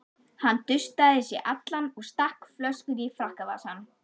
Hann dustaði sig allan og stakk flöskunni í frakkavasann.